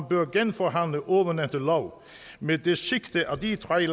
bør genforhandle ovennævnte lov med det sigte at de tre